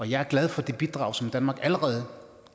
jeg er glad for det bidrag som danmark allerede